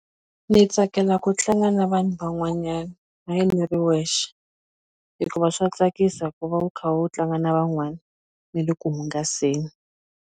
Ndzi tsakela ku tlanga na vanhu van'wanyana hayi ni ri wexe hikuva swa tsakisa ku va u kha u tlanga na van'wana ni le ku hungaseni.